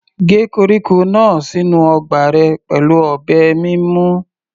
Gé koríko náà sínú ọgbà rẹ pẹ̀lú ọ̀bẹ mímú.